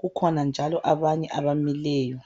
kukhona njalo abanye abamileyo.